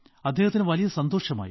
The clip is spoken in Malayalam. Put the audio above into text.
അദ്ദേഹത്തിനു വലിയ സന്തോഷമായി